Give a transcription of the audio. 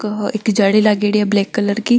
एक जाली लागेड़ी है ब्लैक कलर की --